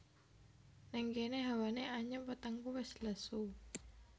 Nèng kéné hawané anyep wetengku wis lesu